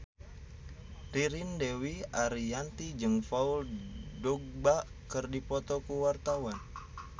Ririn Dwi Ariyanti jeung Paul Dogba keur dipoto ku wartawan